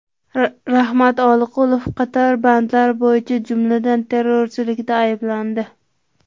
Rahmat Oqilov qator bandlar bo‘yicha, jumladan, terrorchilikda ayblandi.